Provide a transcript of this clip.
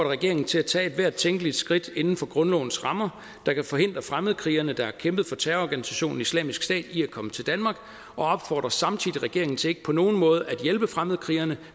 regeringen til at tage ethvert tænkeligt skridt inden for grundlovens rammer der kan forhindre fremmedkrigere der har kæmpet for terrororganisationen islamisk stat i at komme til danmark og opfordrer samtidig regeringen til ikke på nogen måde at hjælpe fremmedkrigere